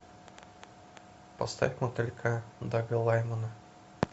поставь мотылька дага лаймана